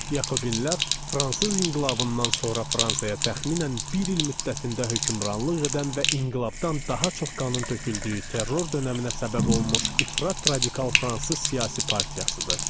Yakobinlər fransız inqilabından sonra Fransaya təxminən bir il müddətində hökmranlıq edən və inqilabdan daha çox qanın töküldüyü terror dönəminə səbəb olmuş ifrat radikal fransız siyasi partiyasıdır.